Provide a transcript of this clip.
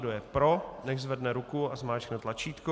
Kdo je pro, nechť zvedne ruku a zmáčkne tlačítko.